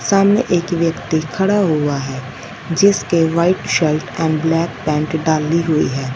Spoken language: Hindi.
सामने एक व्यक्ति खड़ा हुआ है जिसके white shirt and black pant डाली हुई है।